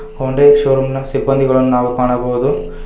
Hyundai showroom ನ ಸಿಬ್ಬಂಧಿಗಳನ್ನು ನಾವು ಕಾಣಬಹುದು.